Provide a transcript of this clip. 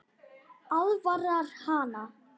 Aðvarar hana.